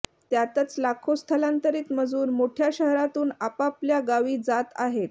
त्यातच लाखो स्थलांतरित मजूर मोठ्या शहरांतून आपापल्या गावी जात आहेत